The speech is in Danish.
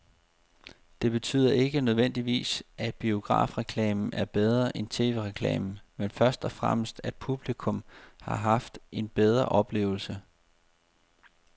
Det betyder ikke nødvendigvis, at biografreklamen er bedre end tv-reklamen, men først og fremmest at publikum har haft en bedre oplevelse.